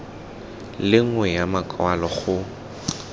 le nngwe ya makwalo go